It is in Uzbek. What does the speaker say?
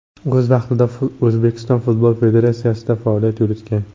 O‘z vaqtida O‘zbekiston futbol federatsiyasida faoliyat yuritgan.